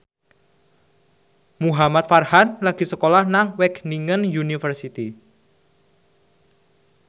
Muhamad Farhan lagi sekolah nang Wageningen University